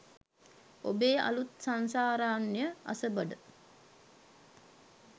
ඔබේ අලුත් "සංසාරාරණ්‍යය අසබඩ"